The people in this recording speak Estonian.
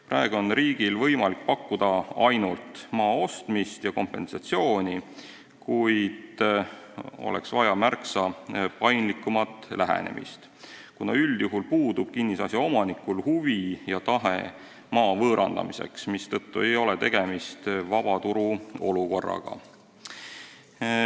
Praegu on riigil võimalik pakkuda ainult maa ostmist ja kompensatsiooni, kuid oleks vaja märksa paindlikumat lähenemist, kuna üldjuhul pole kinnisasja omanik huvitatud maa võõrandamisest, mistõttu ei ole tegemist vaba turu olukorraga.